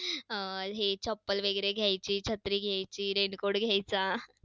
अं हे चप्पल वगैरे घ्यायचे, छत्री घ्यायची, raincoat घ्यायचा.